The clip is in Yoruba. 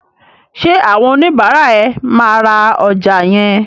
Ṣé àwọn oníbàárà ẹ máa ra ọjà yẹn?